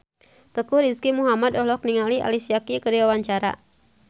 Teuku Rizky Muhammad olohok ningali Alicia Keys keur diwawancara